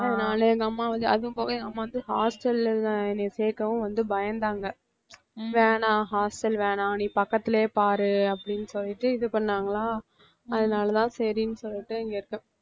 அம்மா வந்து அதுவும் போக எங்க அம்மா வந்து hostel ல்லுல என்ன சேர்க்கவும் வந்து பயந்தாங்க வேணாம் hostel வேணாம் நீ பக்கத்திலேயே பாரு அப்படின்னு சொல்லிட்டு இது பண்ணாங்களா அதனால தான் சரின்னு சொல்லிட்டு இங்கே இருக்கேன்